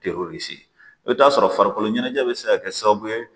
Te i bɛ t'a sɔrɔ farikolo ɲɛnajɛ bɛ se ka kɛ sababu ye